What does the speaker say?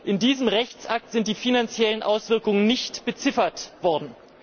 In diesem Rechtsakt sind die finanziellen Auswirkungen nicht beziffert worden.